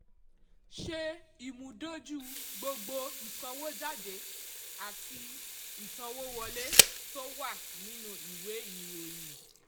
ṣe ìmúdójú gbogbo ìsanwójáde àti ìsanwówọlé tó wà nínú ìwé ìròyìn.